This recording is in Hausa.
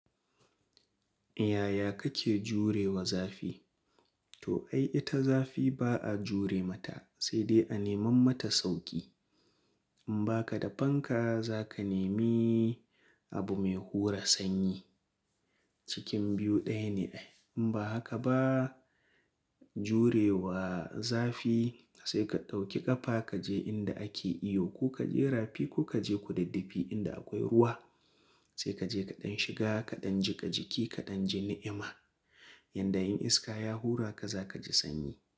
Yaya kake jure wa zafi? To ai ita zafi ba a jure mata sai dai a neman mata sauƙi. In ba ka da fanka za ka nemi abu mai hura sanyi. Cikin biyu ɗaya ne ai. In ba haka ba jure wa zafi sai ka ɗauki ƙafa kaje inda ake iyo ko kaje rafi ko kaje kudiddifi inda akwai ruwa sai kaje kaɗan shiga kaɗan jiƙa jiki kaɗan ji ni'ima. Yanda in iska ya hura ka zaka ji sanyi.